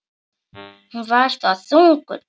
Hún var þá þunguð.